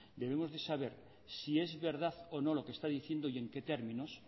debemos de saber si es verdad o no lo que está diciendo y en qué términos